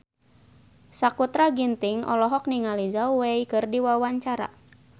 Sakutra Ginting olohok ningali Zhao Wei keur diwawancara